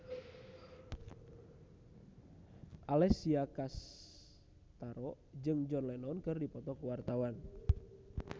Alessia Cestaro jeung John Lennon keur dipoto ku wartawan